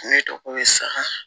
Ne dɔgɔ ye sa